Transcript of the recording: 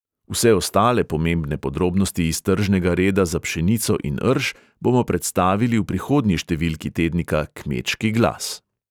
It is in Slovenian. Vse ostale pomembne podrobnosti iz tržnega reda za pšenico in rž bomo predstavili v prihodnji številki tednika kmečki glas.